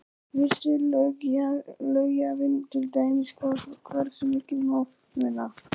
Vissi löggjafinn til dæmis hvað, hversu mikið má muna?